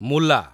ମୁଲା